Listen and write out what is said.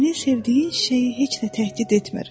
Sənin sevdiyin çiçəyi heç də təhdid etmir.